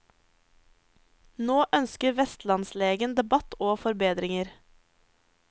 Nå ønsker vestlandslegen debatt og forbedringer.